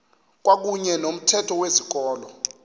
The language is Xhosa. kwakuyne nomthetho wezikolo